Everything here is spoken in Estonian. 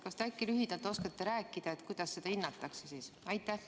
Kas te äkki lühidalt oskate rääkida, kuidas seda hinnatakse?